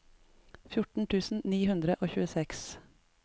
fjorten tusen ni hundre og tjueseks